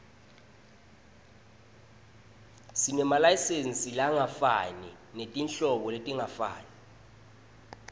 sinemasayizi langefani netinhlobo letingafani